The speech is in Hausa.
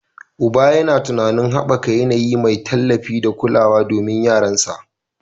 Uban yana tunanin haɓaka yanayi mai tallafi da kulawa domin yaransa